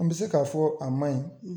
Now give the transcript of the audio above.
An bi se k'a fɔ a manɲi